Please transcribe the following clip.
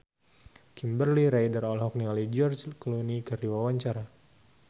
Kimberly Ryder olohok ningali George Clooney keur diwawancara